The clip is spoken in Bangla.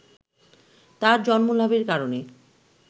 তার জন্মলাভের কারণে